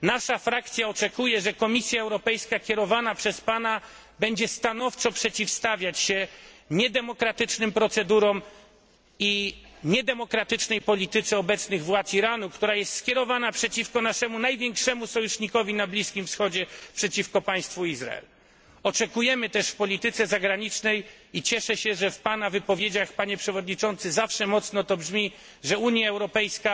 Nasza frakcja oczekuje, że kierowana przez pana Komisja Europejska będzie stanowczo przeciwstawiać się niedemokratycznym procedurom i niedemokratycznej polityce obecnych władz Iranu, która jest skierowana przeciwko naszemu największemu sojusznikowi na Bliskim Wschodzie przeciwko państwu Izrael. Oczekujemy też w polityce zagranicznej i cieszę się, że w pana wypowiedziach, panie przewodniczący zawsze mocno to brzmi że Unia Europejska